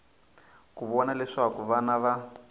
ku vona leswaku vana va